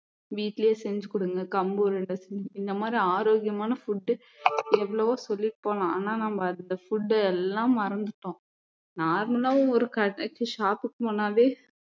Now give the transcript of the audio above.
வீட்டுலேயே செஞ்சு கொடுங்க கம்பு உருண்டை செஞ்ச்~ இந்த மாதிரி ஆரோக்கியமான food எவ்வளவோ சொல்லிட்டு போலாம் ஆனா நம்ம அந்த food எல்லாம் மறந்துட்டோம் normal ஆ ஒரு கடைக்கு shop க்கு போனாலே